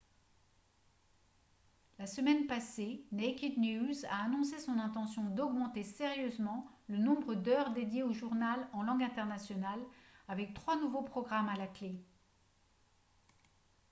la semaine passée naked news a annoncé son intention d'augmenter sérieusement le nombre d'heures dédiées au journal en langue internationale avec trois nouveaux programmes à la clé